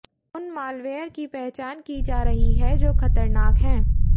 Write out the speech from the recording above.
उन मालवेयर की पहचान की जा रही है जो खतरनाक हैं